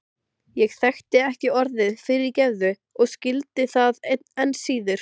Ég þekkti ekki orðið fyrirgefðu og skildi það enn síður.